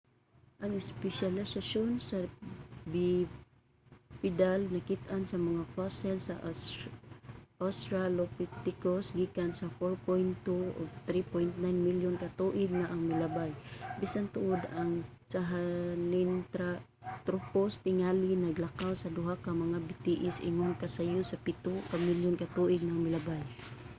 ang espesyalisasyon sa bipedal nakit-an sa mga fossil sa australopithecus gikan 4.2-3.9 milyon ka tuig na ang milabay bisan tuod ang sahelanthropus tingali naglakaw sa duha ka mga bitiis ingon ka sayo sa pito ka milyon ka tuig na ang milabay